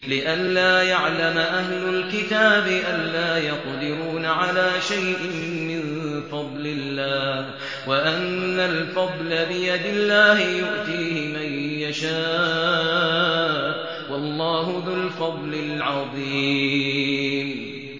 لِّئَلَّا يَعْلَمَ أَهْلُ الْكِتَابِ أَلَّا يَقْدِرُونَ عَلَىٰ شَيْءٍ مِّن فَضْلِ اللَّهِ ۙ وَأَنَّ الْفَضْلَ بِيَدِ اللَّهِ يُؤْتِيهِ مَن يَشَاءُ ۚ وَاللَّهُ ذُو الْفَضْلِ الْعَظِيمِ